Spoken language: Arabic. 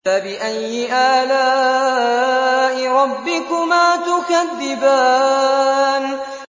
فَبِأَيِّ آلَاءِ رَبِّكُمَا تُكَذِّبَانِ